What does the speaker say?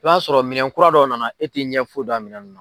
I b'a sɔrɔ minɛn kura dɔ nana e ti ɲɛ foyi dɔn a minɛn